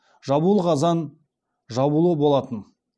жабулы қазан жабулы болатын